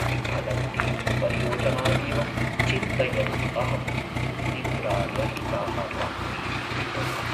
विफलन्तीं परियोजनामेव चिन्तयन् अहं निद्रारहिताः रात्रीः यापयामि।